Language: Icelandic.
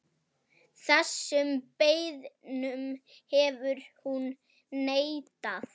Þessum beiðnum hefur hún neitað.